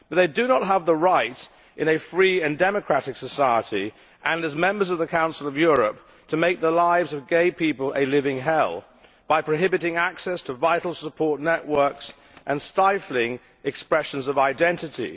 But they do not have the right in a free and democratic society, and as members of the Council of Europe, to make the lives of gay people a living hell, by prohibiting access to vital support networks and stifling expressions of identity.